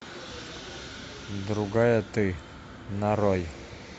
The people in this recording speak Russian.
другая ты нарой